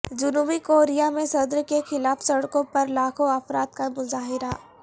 جنوبی کوریا میں صدر کے خلاف سڑکوں پر لاکھوں افراد کا مظاہرہ